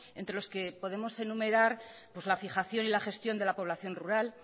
entre los que podemos enumerar la fijación y la gestión de la población rural